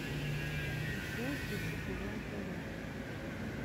джой включи квн тв